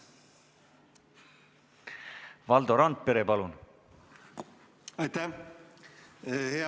Valdo Randpere, palun!